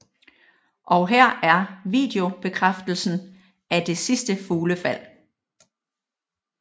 Og her er videobekræftelsen af det sidste fuglefald